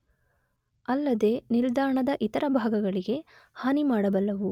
ಅಲ್ಲದೇ ನಿಲ್ದಾಣದ ಇತರ ಭಾಗಗಳಿಗೆ ಹಾನಿಮಾಡಬಲ್ಲವು.